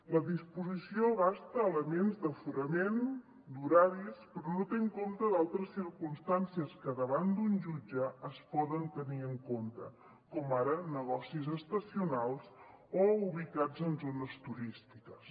la disposició abasta elements d’aforament d’horaris però no té en compte altres circumstàncies que davant d’un jutge es poden tenir en compte com ara negocis estacionals o ubicats en zones turístiques